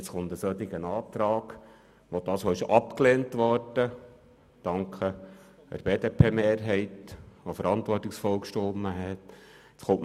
Meinen Dank an die BDP-Mehrheit, die verantwortungsvoll gestimmt hat.